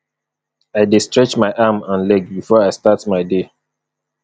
i dey stretch my arm and leg before i start my day